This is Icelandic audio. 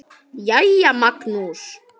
Jæja, Magnús.